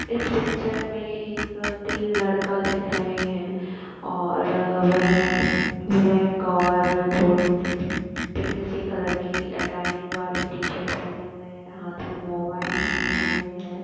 इस पिक्चर में एक तीन लड़का दिख दे रहे हैं और वह ब्लैक और थोड़े से पिंक सी कलर की लाइनिंग वाली टी शर्ट पहने हुए है हाथ में मोबाइल लिये हुए हैं ।